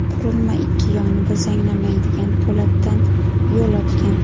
Qurilma ikki yonida zanglamaydigan po‘latdan yo‘l o‘tgan.